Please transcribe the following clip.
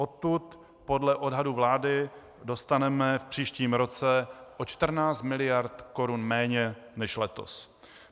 Odtud podle odhadů vlády dostaneme v příštím roce o 14 mld. korun méně než letos.